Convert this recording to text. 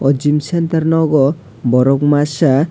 gym centre nogo borok masa.